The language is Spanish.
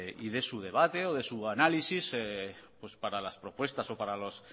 y de su debate o de su análisis para las propuestas o para las